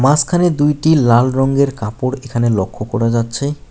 মাঝখানে দুইটি লাল রঙের কাপড় এখানে লক্ষ্য করা যাচ্ছে।